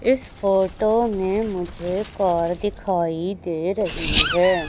इस फोटो में मुझे कार दिखाई दे रही है।